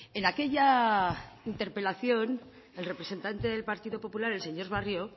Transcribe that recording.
en aquella interpelación el representante del partido popular el señor barrio